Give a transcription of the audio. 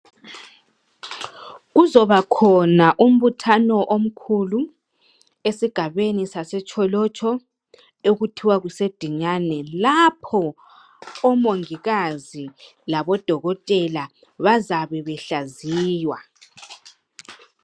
Kuzobakhona umbuthano omkhulu esigabeni saseTsholotsho okuthiwa kuseDinyane laho odokotela labomongikazi bazabebehlaziywa.